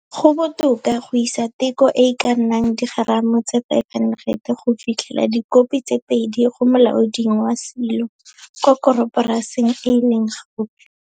Go botoka go isa teko e e ka nnang digeramo tse 500 go fitlhela dikopi tse 2 go molaoding wa silo kwa koroporasing e e leng gaufi.